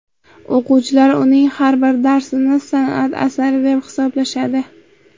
O‘quvchilar uning har bir darsini san’at asari deb hisoblashadi.